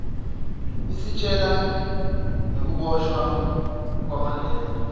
isitjela nagekuboshwa kwamandela